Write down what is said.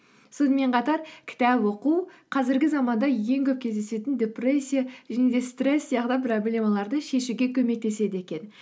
сонымен қатар кітап оқу қазіргі заманда ең көп кездесетін депрессия және де стресс сияқты проблемаларды шешуге көмектеседі екен